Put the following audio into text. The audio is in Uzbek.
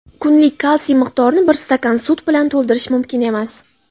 kunlik kalsiy miqdorini bir stakan sut bilan to‘ldirish mumkin emas.